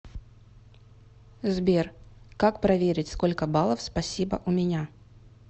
сбер как проверить сколько баллов спасибо у меня